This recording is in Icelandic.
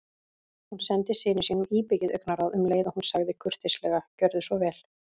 Hún sendi syni sínum íbyggið augnaráð um leið og hún sagði kurteislega: Gjörðu svo vel